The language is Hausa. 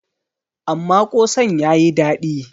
amma kosan ya yi dadi